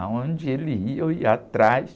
Aonde ele ia, eu ia atrás.